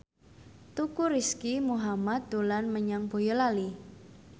Teuku Rizky Muhammad dolan menyang Boyolali